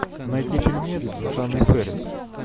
найти фильмец с анной фэрис